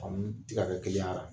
An bɛ tigɛdɛgɛ kelen k'a la.